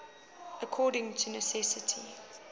according to necessity